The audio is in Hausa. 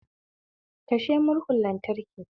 Kashe murhun lantraki